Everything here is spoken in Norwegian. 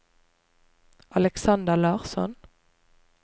Alexander Larsson